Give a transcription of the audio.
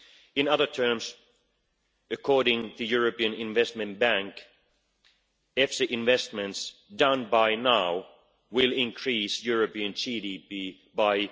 In other terms, according to the European Investment Bank, EFSI investments made up to now will increase European GDP by